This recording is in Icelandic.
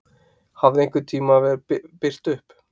Hafði einhvern tíma birt upp?